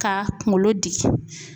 Ka kunkolo diki